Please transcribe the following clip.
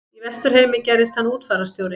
Í Vesturheimi gerðist hann útfararstjóri.